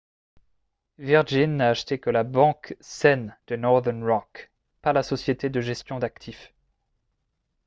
virgin n’a acheté que la « banque saine » de northern rock pas la société de gestion d’actifs